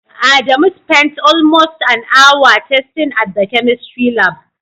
Adamu spent almost an hour testing at the chemistry lab.